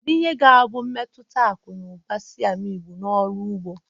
Kedu ihe ga-abụ mmetụta akụ na ụba Siam igbo na ọrụ ugbo?